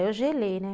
Aí eu gelei, né?